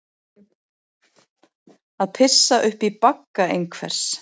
Að pissa upp í bagga einhvers